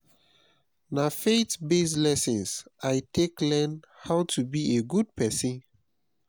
na faith-based lessons i take learn how to be a good pesin.